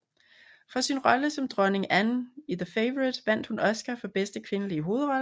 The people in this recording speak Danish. For sin rolle som dronning Anne i The Favourite vandt hun Oscar for bedste kvindelige hovedrolle